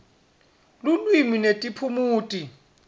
lulwimi netiphumuti